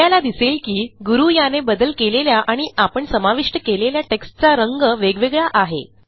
आपल्याला दिसेल की गुरू याने बदल केलेल्या आणि आपण समाविष्ट केलेल्या टेक्स्टचा रंग वेगवेगळा आहे